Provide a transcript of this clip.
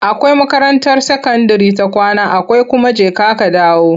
Akwai makarantar sakandire ta kwana akwai kuma jeka-kadawo.